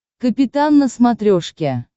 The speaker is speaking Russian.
капитан на смотрешке